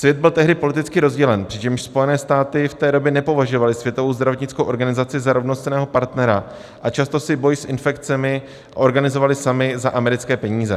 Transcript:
Svět byl tehdy politicky rozdělen, přičemž Spojené státy v té době nepovažovaly Světovou zdravotnickou organizaci za rovnocenného partnera a často si boj s infekcemi organizovaly samy za americké peníze.